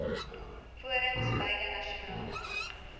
forums beide nasionaal